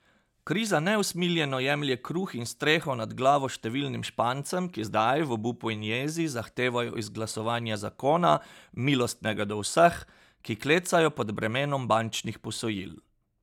Kriza neusmiljeno jemlje kruh in streho nad glavo številnim Špancem, ki zdaj, v obupu in jezi, zahtevajo izglasovanje zakona, milostnega do vseh, ki klecajo pod bremenom bančnih posojil.